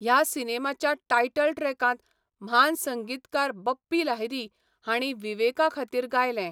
ह्या सिनेमाच्या टायटल ट्रॅकांत म्हान संगीतकार बप्पी लाहिरी हांणी विवेका खातीर गायलें.